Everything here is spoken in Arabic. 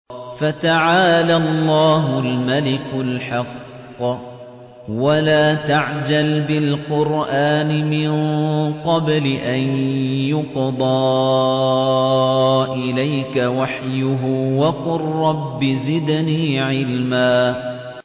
فَتَعَالَى اللَّهُ الْمَلِكُ الْحَقُّ ۗ وَلَا تَعْجَلْ بِالْقُرْآنِ مِن قَبْلِ أَن يُقْضَىٰ إِلَيْكَ وَحْيُهُ ۖ وَقُل رَّبِّ زِدْنِي عِلْمًا